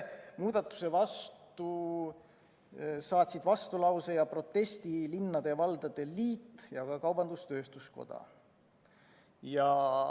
Muudatuse kohta saatsid vastulause ja protesti linnade ja valdade liit ning ka kaubandus-tööstuskoda.